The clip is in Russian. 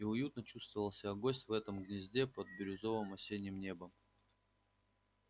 и уютно чувствовал себя гость в этом гнезде под бирюзовым осенним небом